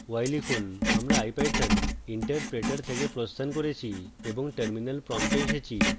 y লিখুন